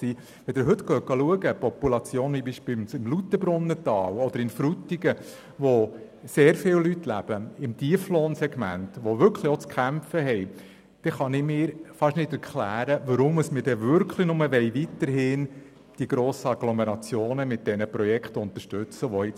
Wenn Sie beispielsweise die Population im Lauterbrunnental oder in Frutigen betrachten, wo sehr viele Leute im Tieflohnsegment leben und zu kämpfen haben, kann ich mir nicht erklären, weshalb wir nur die grossen Agglomerationen mit bereits bestehenden Projekten unterstützen wollen.